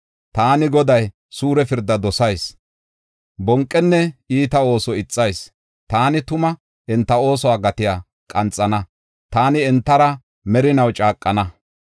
“Taani, Goday suure pirda dosayis; bonqenne iita ooso ixayis. Taani tuma enta oosuwa gatiya qanxana; Taani entara merinaw caaqana.